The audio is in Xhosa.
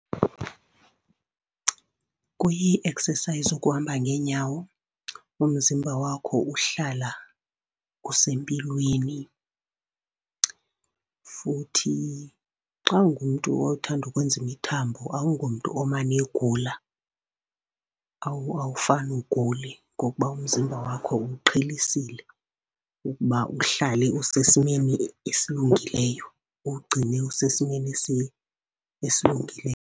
Kuyi-exercise ukuhamba ngeenyawo, umzimba wakho uhlala usempilweni. Futhi xa ungumntu othanda ukwenza imithambo awungomntu omane egula, awufane ugule ngokuba umzimba wakho uwuqhelisile ukuba uhlale usesimeni esilungileyo, uwugcine usesimeni esilungile.